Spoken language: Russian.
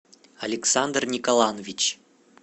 александр николанович